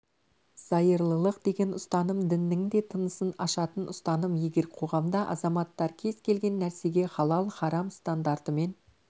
зайырлылық деген ұстаным діннің де тынысын ашатын ұстаным егер қоғамда азаматтар кез келген нәрсеге халал-харам стандартымен